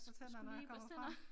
Skulle lige børste tænder